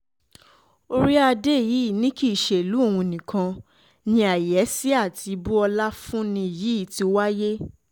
orí-adé yìí ni kì í ṣe ìlú òun um nìkan ni àyẹ́sí àti ibú um ọlá fún ni yìí ti wáyé